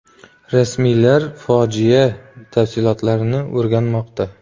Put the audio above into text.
Rasmiylar fojia tafsilotlarini o‘rganmoqda.